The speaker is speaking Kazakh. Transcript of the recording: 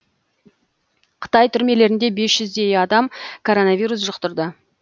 қытай түрмелерінде бес жүздей адам коронавирус жұқтырды